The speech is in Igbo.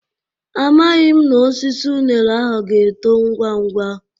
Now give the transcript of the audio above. Amaghị m na osisi unere ahụ ga-eto ngwa ngwa.